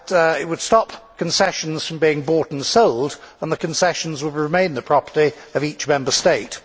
It would stop concessions from being bought and sold, and the concessions would remain the property of each Member State.